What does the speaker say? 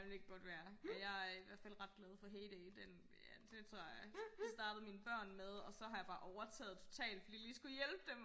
ja det kan godt være jeg er i hvertfald ret glad for HayDay den den tror jeg det startede mine børn med og så har jeg bare overtaget totalt fordi jeg lige skulle hjælpe dem